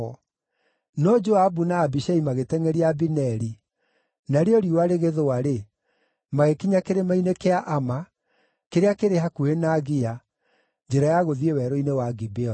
No Joabu na Abishai magĩtengʼeria Abineri, narĩo riũa rĩgĩthũa-rĩ, magĩkinya kĩrĩma-inĩ kĩa Ama, kĩrĩa kĩrĩ hakuhĩ na Gia, njĩra ya gũthiĩ werũ-inĩ wa Gibeoni.